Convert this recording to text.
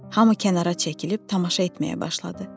Hamı kənara çəkilib tamaşa etməyə başladı.